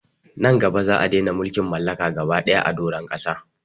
Nan gaba za'a dena mulkin mallaka gaba daya a doron ƙasa